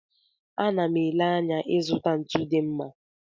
Ana m ele anya ịzụta ntu dị mma.